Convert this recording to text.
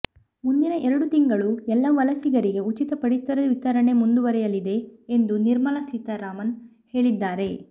ಮುಂದಿನ ಎರಡು ತಿಂಗಳು ಎಲ್ಲ ವಲಸಿಗರಿಗೆ ಉಚಿತ ಪಡಿತರ ವಿತರಣೆ ಮುಂದುವರೆಯಲಿದೆ ಎಂದು ನಿರ್ಮಲಾ ಸೀತಾರಾಮನ್ ಹೇಳಿದ್ದಾರೆ